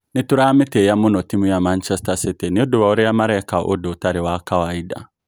"Nitũramĩtĩya mũno timu ya Manchester City niundũ wa ũria maraeka ũndũ ũtari wa kawaida.